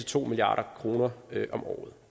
to milliard kroner om året